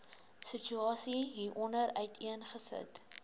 situasie hieronder uiteengesit